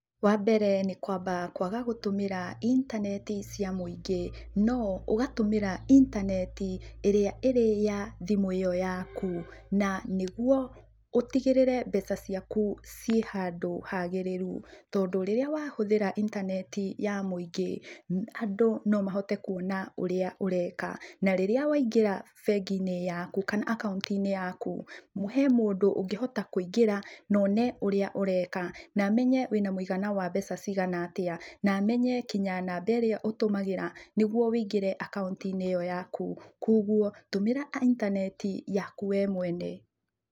Wambere nĩ kũamba kũaga gũtũmĩra intaneti cia mũingĩ, no ũgatũmĩra intaneti ĩrĩa ĩrĩ ya thimu ĩyo yaku. Na nĩguo ũtigĩrĩre mbeca ciaku ciĩ handũ hagĩrĩru. Tondũ rĩrĩa wahũthĩra intaneti ya mũingĩ, andũ no mahote kuona ũrĩa ũreka. Na rĩrĩa waingĩra bengi-inĩ yaku kana akaunti-inĩ yaku, he mũndũ ũngĩhota kũingĩra, na one ũrĩa ũreka, na amenye wĩna mũigana wa mbeca cigana atĩa, na amenye kinya namba ĩrĩa ũtũmagĩra nĩguo wĩingĩre akaunti-inĩ ĩyo yaku. Kuoguo tũmĩra intaneti yaku we mwene.